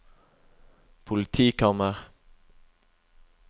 politikammer